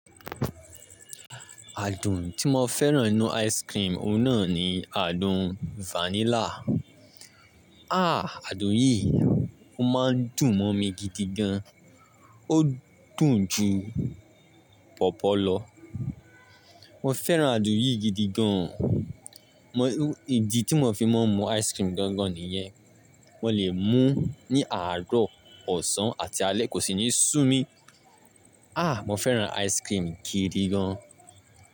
Àdùn tí mo fẹ́ràn nínú ice cream oun náà ni àdùn vanilla. Àdùn yìí o máa ń dùn mọ́ mi gidi gan. Ó dùn ju pọ̀pọ́ lọ. Mo fẹ́ràn àádùn yìí gidi gan. Idi tí mo fi máa ń mu ice cream gan-gan nìyẹn. Mo lè mú ní àárọ̀, ọ̀sán, àti alẹ́, kò sí ní sú mi. Mo fẹ́ràn ice cream gidi gan.